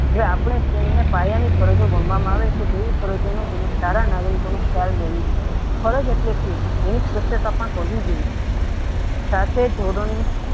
આપણે તેમને કાયમિક ફરજો ગણવામાં આવે છે તેવી સફરજનો સારા નાગરિકો ફરજ એટલે સુ તેની સ્પષ્ટતા પણ કરવી જોયી સાતે જોગાનું